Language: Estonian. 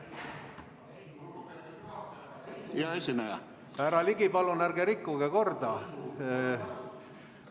Härra Ligi, palun ärge rikkuge korda!